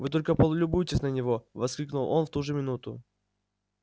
вы только полюбуйтесь на него воскликнул он в ту же минуту